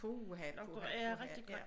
Puha puha puha ja